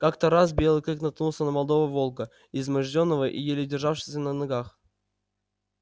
как то раз белый клык наткнулся на молодого волка измождённого и еле державшегося на ногах